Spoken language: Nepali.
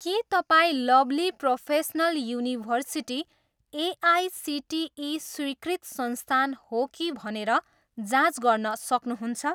के तपाईँँ लभ्ली प्रोफेसनल युनिभर्सिटी एआइसिटिई स्वीकृत संस्थान हो कि भनेर जाँच गर्न सक्नुहुन्छ?